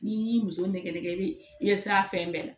N'i y'i muso nɛgɛ i ye sira fɛn bɛɛ la